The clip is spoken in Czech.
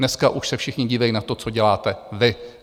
Dneska už se všichni dívají na to, co děláte vy.